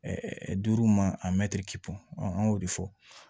duuru ma a mɛtiri an y'o de fɔ